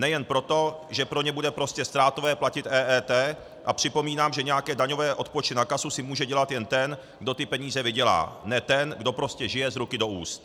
Nejen proto, že pro ně bude prostě ztrátové platit EET, a připomínám, že nějaké daňové odpočty na kasu si může dělat jen ten, kdo ty peníze vydělá, ne ten, kdo prostě žije z ruky do úst.